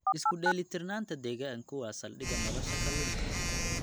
Isku dheelitirnaanta deegaanku waa saldhigga nolosha kalluunka.